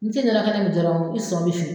Me se ka min jɔrɔ i sɔn bɛ fin